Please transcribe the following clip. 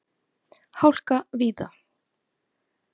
Hálka víða